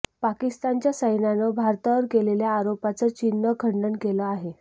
पाकिस्तानच्या सैन्यानं भारतावर केलेल्या आरोपांचं चीननं खंडन केलं आहे